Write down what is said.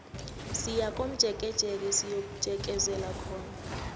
siyakomjekejeke siyojekezela khona